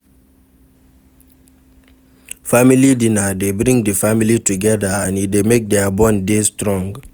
Family dinner de bring di family together and e de make their bond de strong